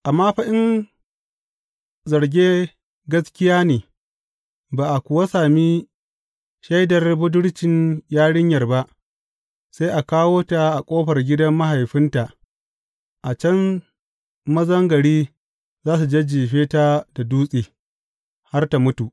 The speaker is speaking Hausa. Amma fa in zarge gaskiya ne, ba a kuwa sami shaidar budurcin yarinyar ba, sai a kawo ta a ƙofar gidan mahaifinta, a can mazan gari za su jajjefe ta da dutse har tă mutu.